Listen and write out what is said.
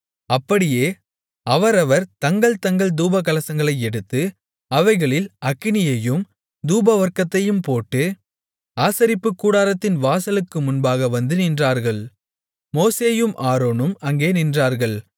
அப்படியே அவரவர் தங்கள் தங்கள் தூபகலசங்களை எடுத்து அவைகளில் அக்கினியையும் தூபவர்க்கத்தையும் போட்டு ஆசரிப்புக்கூடாரத்தின் வாசலுக்கு முன்பாக வந்து நின்றார்கள் மோசேயும் ஆரோனும் அங்கே நின்றார்கள்